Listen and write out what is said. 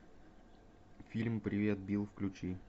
фильм привет билл включи